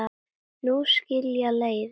Nú skilja leiðir.